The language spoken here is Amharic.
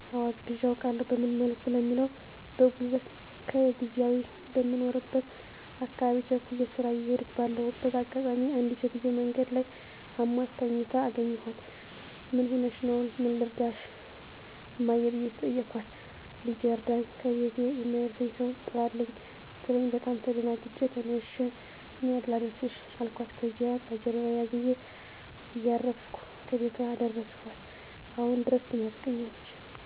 *አወ አግዠ አውቃለሁ፦ በምን መልኩ ለሚለው በጉልበቴ ከዚያው ከምኖርበት አካባቢ ቸኩየ ስራ እየሄድኩ ባለሁበት አጋጣሚ አንዲት ሴትዮ መንገድ ላይ አሟት ተኝታ አገኘኋት ምን ሁነሽ? ምን ልርዳሽ? እማማ ብየ ጠየኳት ልጀ እርዳኝ ከቤቴ የሚያደርሰኝ ሰው ጥራልኝ ስትለኝ በጣም ተደናግጨ ተነሽ እኔ ላድርስሽ አልኳት ከዚያ በጀርባየ አዝየ እያረፍኩ ከቤቷ አደረስኳት፤ አሁን ድረስ ትመርቀኛለች።